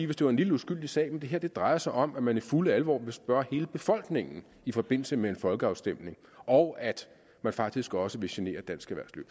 hvis det var en lille uskyldig sag men det her drejer sig om at man i fuld alvor vil spørge hele befolkningen i forbindelse med en folkeafstemning og at man faktisk også vil genere dansk erhvervsliv